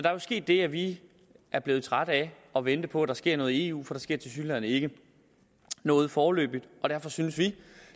er jo sket det at vi er blevet trætte af at vente på at der sker noget i eu for der sker tilsyneladende ikke noget foreløbig og derfor synes vi